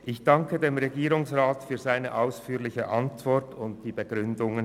Ich danke dem Regierungsrat für seine ausführliche Antwort und die Begründungen.